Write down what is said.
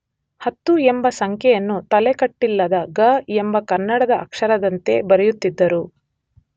ಹತ್ತು ಎಂಬ ಸಂಖ್ಯೆಯನ್ನು ತಲೆಕಟ್ಟಿಲ್ಲದ ಗ ಎಂಬ ಕನ್ನಡದ ಅಕ್ಷರದಂತೆ ಬರೆಯುತ್ತಿದ್ದರು.